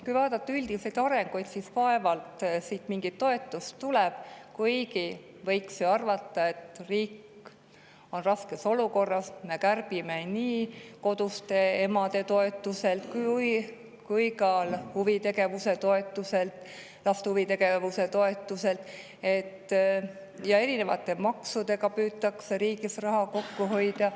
Kui vaadata üldiseid arenguid, siis vaevalt siit mingit toetust tuleb, kuigi võiks ju arvata, et riik on raskes olukorras, kui me kärbime nii koduste emade toetust kui ka laste huvitegevuse toetust ja erinevate maksude abil püütakse riigis raha kokku hoida.